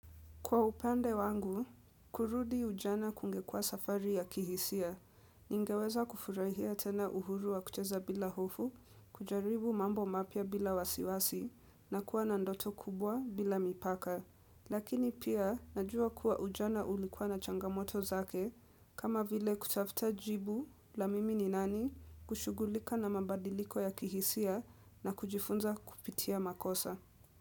Kwa upande wangu, kurudi ujana kungekuwa safari ya kihisia, ningeweza kufurahia tena uhuru wa kucheza bila hofu, kujaribu mambo mapya bila wasiwasi, na kuwa na ndoto kubwa bila mipaka. Lakini pia, najua kuwa ujana ulikuwa na changamoto zake, kama vile kutafuta jibu la mimi ni nani, kushugulika na mabadiliko ya kihisia na kujifunza kupitia makosa.